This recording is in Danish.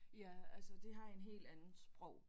Ja altså de har en helt anden sprog